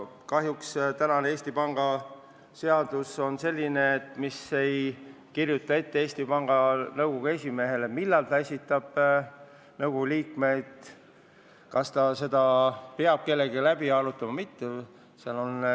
Kahjuks ei kirjuta Eesti Panga seadus praegu Eesti Panga Nõukogu esimehele ette, millal ta peab nõukogu liikmete nimed esitama ja kas ta peab nimekirja kellegagi läbi arutama või mitte.